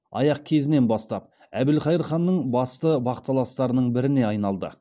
аяқ кезінен бастап әбілқайыр ханның басты бақталастарының біріне айналды